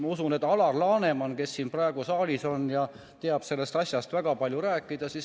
Ma usun, et Alar Laneman, kes ka siin saalis on, teab sellest asjast väga palju rääkida.